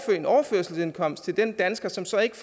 en overførselsindkomst til den dansker som så ikke